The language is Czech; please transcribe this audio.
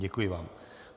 Děkuji vám.